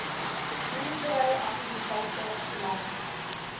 boerdery aktiwiteite lang